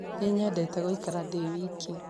Nĩ nyendete gũikara ndĩ wiki